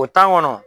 O tan kɔnɔ